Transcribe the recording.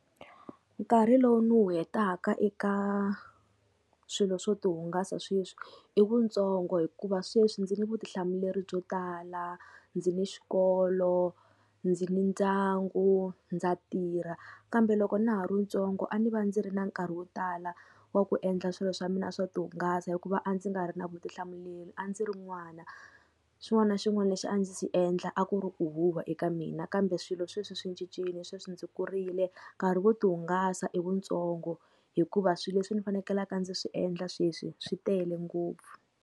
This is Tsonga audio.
Nkarhi lowu ni wu hetaka eka swilo swo tihungasa sweswi i wutsongo hikuva sweswi ndzi ni vutihlamuleri byo tala, ndzi ni xikolo, ndzi ni ndyangu, ndza tirha. Kambe loko na ha ri ntsongo a ndzi va ndzi ri na nkarhi wo tala wa ku endla swilo swa mina swo tihungasa hikuva a ndzi nga ri na vutihlamuleri a ndzi ri n'wana. Xin'wana na xin'wana lexi a ndzi xi endla a ku ri ku huhwa eka mina, kambe swilo sweswi swi cincile sweswi ndzi kurile nkarhi wo tihungasa i wutsongo hikuva swilo leswi ni fanekelaku ndzi swi endla sweswi swi tele ngopfu.